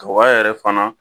Kaba yɛrɛ fana